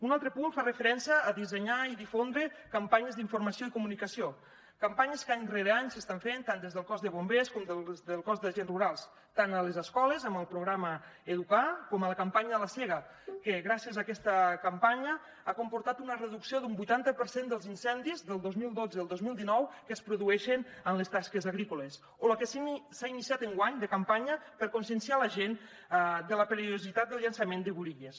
un altre punt fa referència a dissenyar i difondre campanyes d’informació i comunicació campanyes que any rere any s’estan fent tant des del cos de bombers com des del cos d’agents rurals tant a les escoles amb el programa educar com a la campanya de la sega que gràcies a aquesta campanya ha comportat una reducció d’un vuitanta per cent dels incendis del dos mil dotze al dos mil dinou que es produeixen en les tasques agrícoles o la que s’ha iniciat enguany de campanya per conscienciar la gent de la perillositat del llançament de burilles